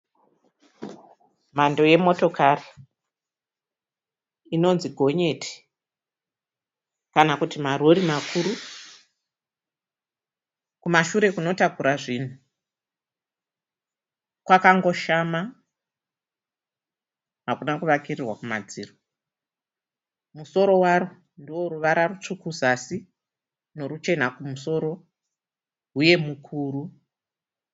Mhando yemotokari inonzi gonyeti kana kuti marori makuru. Kumashure kunotakura zvinhu kwakangoshama hakuna kuvakiririrwa kumadziro. Musoro waro ndoworuvara rutsvuku kuzasi noruchena kumusoro, huye mukuru.